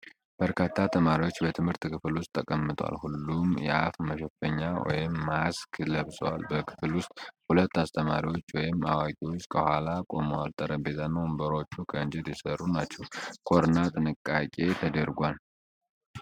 በርካታ ተማሪዎች በትምህርት ክፍል ውስጥ ተቀምጠዋል። ሁሉም የአፍ መሸፈኛ (ማስክ) ለብሰዋል። በክፍል ውስጥ ሁለት አስተማሪዎች ወይም አዋቂዎች ከኋላ ቆመዋል። ጠረጴዛና ወንበሮቹ ከእንጨት የተሰሩ ናቸው። ኮሮና ጥንቃቄ ተደርጓል።